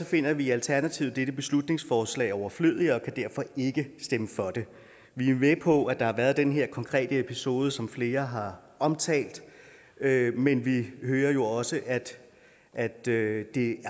finder vi i alternativet dette beslutningsforslag overflødigt og kan derfor ikke stemme for det vi er med på at der har været den her konkrete episode som flere har omtalt men vi hører jo også at det